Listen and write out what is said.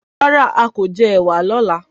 Rárá, a kò jẹ ẹ̀wà lọ́la.